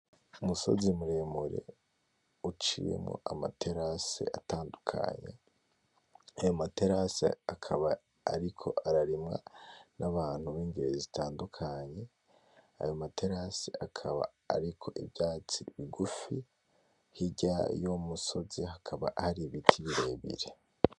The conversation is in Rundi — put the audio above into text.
Umusozi muremure uciyemwo amaterase atandukanye, ayo materase akaba ariko ararimwa n'ababntu bingeri zitandukanye, ayo materase akaba ariko ivyatsi bigufi, hirya y'umusozi hakaba hari ibiti birebire.